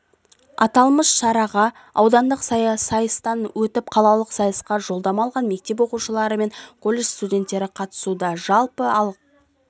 аталмыш шараға аудандық сайыстан өтіп қалалық сайысқа жолдама алған мектеп оқушылары және коллежд студенттері қатысуда жалпы